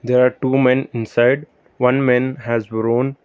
there are two men inside one man has worn--